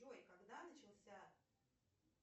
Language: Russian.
джой когда начался